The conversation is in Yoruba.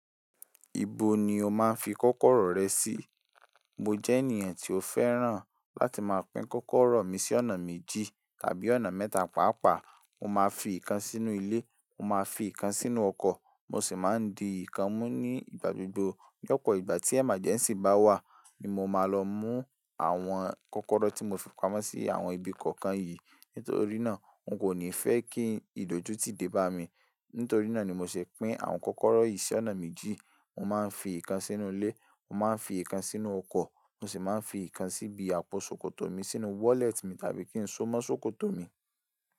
Ibo ni o máa ń fi kókóró rẹ sí? Mo jẹ́ ènìyàn tí ó fẹ́ràn láti máa pín kókóró mi sí ọ̀nà méjì tàbí ọ̀nà mẹ́ta pàápàá. Mo máa ń fi ìkan sínú ilé, mo máa ń fi ìkan sínú ọkọ̀, mo sì máa ń di ìkan mú ní ìgbà gbogbo. Lopo ìgbà tí emergency bá wà ní mo máa lọ mú àwọn kókóró tí mo fi pamọ́ sí àwọn ibi kọ̀ọ̀kan yìí. Nítorí náà n kò ní fẹ́ kí ìdójútì dé bá mi. Nítorí náà ni mo ṣè pín àwọn kókóró yìí sí ọ̀nà méjì. Mo máa ń fi ìkan sínú ilé, mo máa ń fi ìkan sínú ọkọ̀, mo sì máa ń fi ìkan síbi àpò ṣòkòtò mi, sínú wallet mi tàbí kín so mọ́ ṣòkòtò mi.